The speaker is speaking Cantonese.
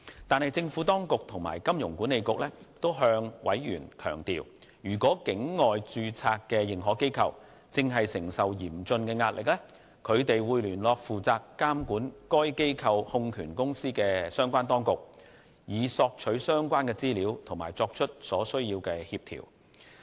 但是，政府當局和金管局均向委員強調，如果境外註冊認可機構正承受嚴峻的壓力，他們會聯絡負責監管該機構控權公司的相關當局，以索取相關資料並作出所需協調。